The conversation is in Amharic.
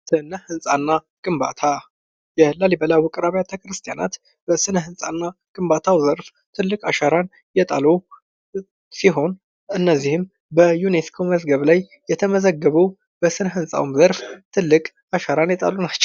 ስነ ህንጻና ግንባታ የላሊበላ ውቅር አብያተ ክርስቲያናት በስነ ህንጻና ግንባታው ዘርፍ ትልቅ አሻራን የጣሉ ሲሆን እነዚህም በዩኒስኮ መዝገብ ላይ የተመዘገቡ በስነ ህንጻውም ዘርፍ ትልቅ አሻራን የጣሉ ናቸው።